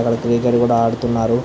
అక్కడ క్రికెట్ కూడా ఆడుతున్నారు --